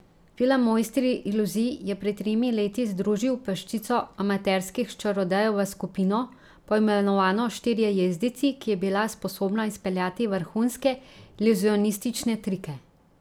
Film Mojstri iluzij je pred tremi leti združil peščico amaterskih čarodejev v skupino, poimenovano Štirje jezdeci, ki je bila sposobna izpeljati vrhunske iluzionistične trike.